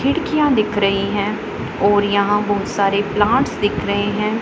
खिड़कियां दिख रही हैं और यहां बहुत सारे प्लांट्स दिख रहे हैं।